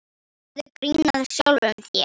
Gerðu grín að sjálfum þér.